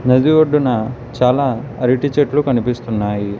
నది ఒడ్డున చాలా అరటి చెట్లు కనిపిస్తున్నాయి.